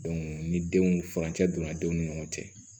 ni denw furancɛ donna denw ni ɲɔgɔn cɛ